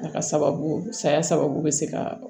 A ka sababu saya sababu bɛ se ka